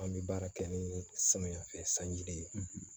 An bɛ baara kɛ ni samiya fɛ sanji de ye